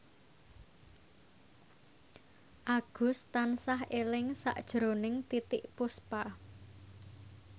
Agus tansah eling sakjroning Titiek Puspa